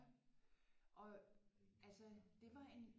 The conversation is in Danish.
Ja og altså det var en